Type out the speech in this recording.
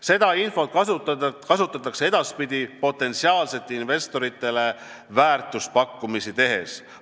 Seda infot kasutatakse edaspidi potentsiaalsetele investoritele väärtuspakkumisi tehes.